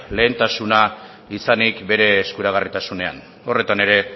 lehentasuna izanik bere eskuragarritasunean horretan ere